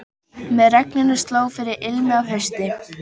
Með regninu sló fyrir ilmi af hausti.